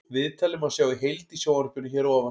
Viðtalið má sjá í heild í sjónvarpinu hér að ofan.